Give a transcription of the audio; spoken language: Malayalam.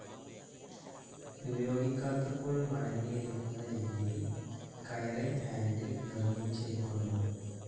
ഉപയോഗിക്കാത്തപ്പോൾ മടങ്ങിയിരിക്കുന്ന രീതിയിൽ കയറിങ് ഹാൻറിൽ നിർമിച്ചിരിക്കുന്നു.